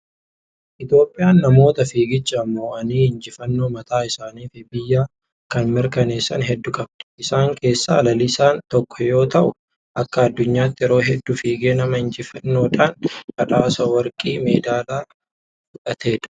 Itoophiyaan namoota fiiggichaadhaan moo'anii injifannoo mataa isaanii fi biyya kanaa mirkaneessan hedduu qabdi. Isaan keessaa Lalisaan tokko yommuu ta'u, akka addunyaatti yeroo hedduu fiigee nama injifannoodhaan badhaasa warqii medaalaa fudhatedha.